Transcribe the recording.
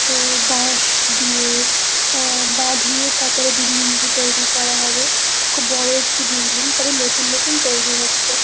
তো বাঁশ দিয়ে আহ বাঁধিয়ে তারপরে বিল্ডিং -টি তৈরি করা হবে খুব বড় একটি বিল্ডিং সবে নতুন নতুন তৈরি হচ্ছে।